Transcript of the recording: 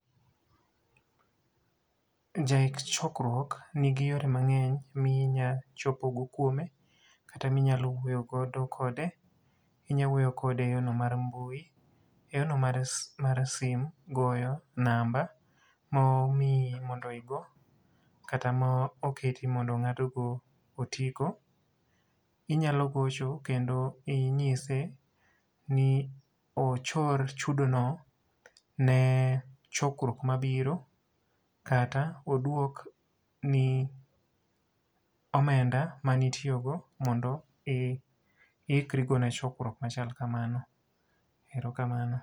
Jaik chokruok nigi yore mangény minya chopo go kuome, kata minyalo wuoyo godo kode. Inya wuoyo kode e yo no mar mbui, e yo no mar simu, goyo namba, momii mondo igo, kata ma oketi mondo ngáto otigo. Inyalo gocho kendo inyise ni ochor chudo no ne chokruok mabiro kata oduokni omenda mane itiyogo mondo iikri go ne chokruok machal kamano. Erokamano.